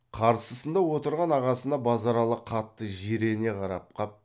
қарсысында отырған ағасына базаралы қатты жирене қарап қап